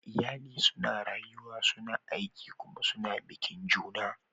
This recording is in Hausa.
Iyali suna rayuwa, suna aiki kuma suna bikin juna.